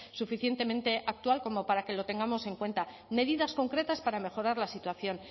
suficientemente actual como para que lo tengamos en cuenta medidas concretas para mejorar la situación